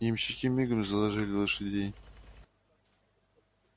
ямщики мигом заложили лошадей